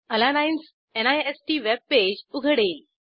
एलानाइन्स निस्त वेबपेज उघडेल